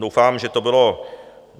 Doufám, že to bylo...